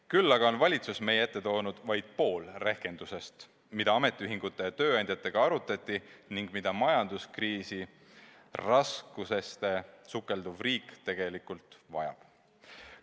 Küll aga on valitsus meie ette toonud vaid pool rehkendusest, mida ametiühingute ja tööandjatega arutati ning mida majanduskriisi raskustesse sukelduv riik tegelikult vajab.